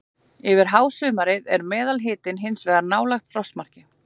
Yfir hásumarið er meðalhitinn hins vegar nálægt frostmarki.